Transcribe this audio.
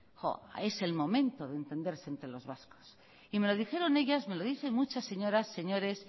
es el momento de entenderse entre los vascos y me lo dijeron ellas me lo dicen muchas señoras señores